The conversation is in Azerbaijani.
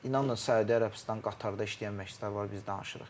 İnanın Səudiyyə Ərəbistan, Qatarda işləyən məşçilər var, biz danışırıq.